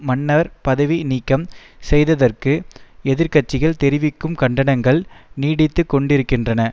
மன்னர் பதவி நீக்கம் செய்ததற்கு எதிர் கட்சிகள் தெரிவிக்கும் கண்டனங்கள் நீடித்துக்கொண்டிருக்கின்றன